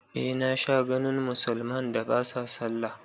Eh na sha ganin musulman da ba sa sallah